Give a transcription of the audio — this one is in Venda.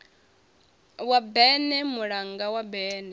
wa berne mulanga wa berne